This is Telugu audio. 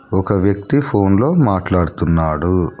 ఒక వ్యక్తి ఫోన్లో మాట్లాడుతున్నాడు.